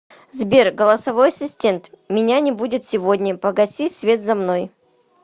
сбер голосовой ассистент меня не будет сегодня погаси свет за мной